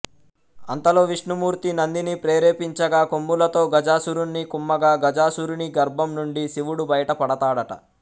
అంతలో విష్ణుమూర్తి నందిని ప్రేరేపించగా కొమ్ములతో గజాసురుణ్ణి కుమ్మగా గజాసురుని గర్భం నుండి శివుడు బయట పడతాడట